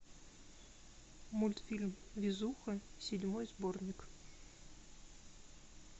мультфильм везуха седьмой сборник